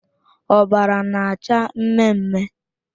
Ọbara na-acha mme mme.